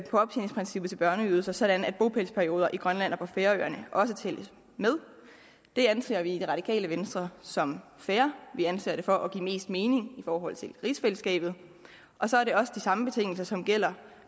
optjeningsprincippet til børneydelser sådan at bopælsperioder i grønland og på færøerne også tælles med det anser vi i radikale venstre som fair vi anser det for at give mest mening i forhold til rigsfællesskabet og så er det også de samme betingelser som gælder